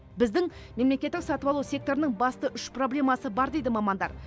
біздің мемлекеттік сатып алу секторының басты үш проблемасы бар дейді мамандар